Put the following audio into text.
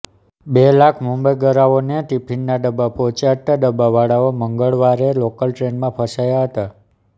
બે લાખ મુંબઇગરાઓને ટિફિનના ડબ્બા પહોંચાડતા ડબ્બાવાળાઓ મંગળવારે લોકલ ટ્રેનમાં ફસાયા હતા